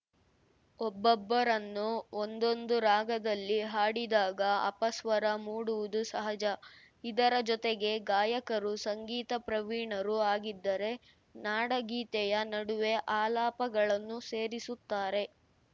ಒಬ್ಬೊಬ್ಬರನ್ನು ಒಂದೊಂದು ರಾಗದಲ್ಲಿ ಹಾಡಿದಾಗ ಅಪಸ್ವರ ಮೂಡುವುದು ಸಹಜ ಇದರ ಜೊತೆಗೇ ಗಾಯಕರು ಸಂಗೀತ ಪ್ರವೀಣರೂ ಆಗಿದ್ದರೆ ನಾಡಗೀತೆಯ ನಡುವೆ ಆಲಾಪಗಳನ್ನೂ ಸೇರಿಸುತ್ತಾರೆ